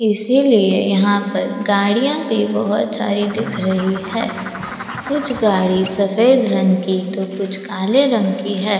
इसीलिए यहां पर गाड़ियां भी बहुत सारी दिख रही है कुछ गाड़ी सफेद रंग की तो कुछ काले रंग की है।